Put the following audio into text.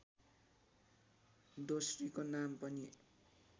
दोस्रीको नाम पनि